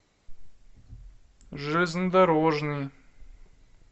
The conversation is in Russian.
железнодорожный